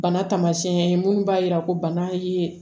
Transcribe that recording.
Bana tamasiyɛn ye mun b'a yira ko bana ye